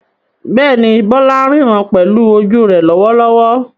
Bẹ́ẹ̀ni, Bola ń ríran pẹ̀lú ojú rẹ̀ lọ́wọ́lọ́wọ́.